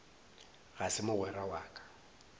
ga se mogwera wa ka